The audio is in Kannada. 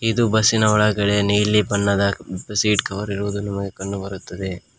ಇದು ಬಸ್ಸಿನ ನೀಲಿ ಬಣ್ಣದ ಸೀಟ್ ಕವರ್ ಇರುವುದನ್ನು ನಮಗೆ ಕಂಡು ಬರುತ್ತದೆ.